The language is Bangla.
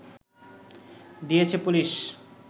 দিয়েছে পুলিশ